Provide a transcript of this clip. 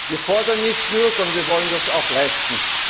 Wir fordern nicht nur, sondern wir wollen das auch leisten.